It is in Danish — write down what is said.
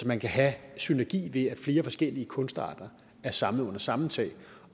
man kan have synergi ved at flere forskellige kunstarter er samlet under samme tag og